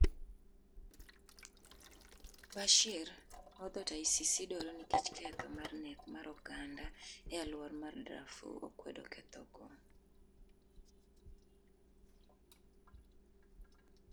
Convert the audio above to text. Bashir, ma odhot ICC dwaro nikech ketho mar nek mar oganda e aluora mar Drafur, okwedo ketho go.